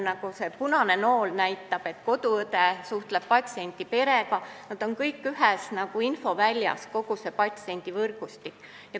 Nagu see punane nool siin slaidil näitab, koduõde suhtleb patsiendi perega ja kogu patsiendi võrgustik on ühes infoväljas.